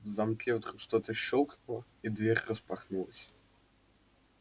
в замке вдруг что-то щёлкнуло и дверь распахнулась